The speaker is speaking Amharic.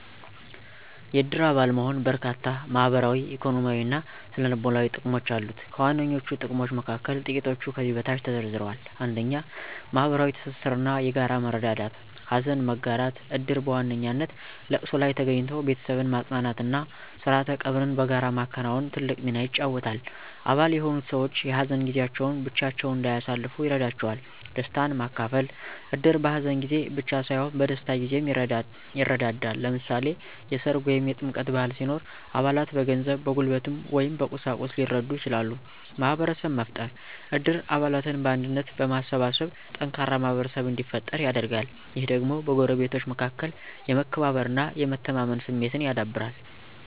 የእድር አባል መሆን በርካታ ማህበራዊ፣ ኢኮኖሚያዊ እና ስነ-ልቦናዊ ጥቅሞች አሉት። ከዋነኞቹ ጥቅሞች መካከል ጥቂቶቹ ከዚህ በታች ተዘርዝረዋል፦ 1. ማህበራዊ ትስስር እና የጋራ መረዳዳት * ሀዘን መጋራት: እድር በዋነኛነት ለቅሶ ላይ ተገኝቶ ቤተሰብን ማጽናናት እና ስርዓተ ቀብርን በጋራ ማከናወን ትልቅ ሚና ይጫወታል። አባል የሆኑት ሰዎች የሀዘን ጊዜያቸውን ብቻቸውን እንዳያሳልፉ ይረዳቸዋል። * ደስታን ማካፈል: እድር በሀዘን ጊዜ ብቻ ሳይሆን በደስታ ጊዜም ይረዳዳል። ለምሳሌ፣ የሠርግ ወይም የጥምቀት በዓል ሲኖር አባላት በገንዘብ፣ በጉልበት ወይም በቁሳቁስ ሊረዱ ይችላሉ። * ማህበረሰብ መፍጠር: እድር አባላትን በአንድነት በማሰባሰብ ጠንካራ ማህበረሰብ እንዲፈጠር ያደርጋል። ይህ ደግሞ በጎረቤቶች መካከል የመከባበር እና የመተማመን ስሜትን ያዳብራል